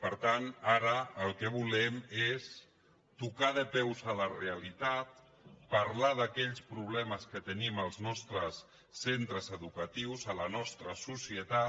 per tant ara el que volem és tocar de peus a la realitat parlar d’aquells problemes que tenim als nostres centres educatius a la nostra societat